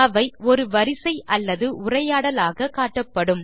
அவை ஒரு வரிசை அல்லது உரையாடலாக காட்டப்படும்